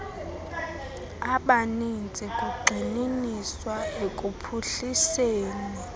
abaninzi kugxininiswa ekuphuhliseni